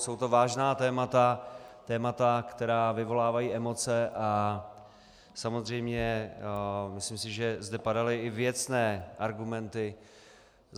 Jsou to vážná témata, témata, která vyvolávají emoce, a samozřejmě myslím si, že zde padaly i věcné argumenty.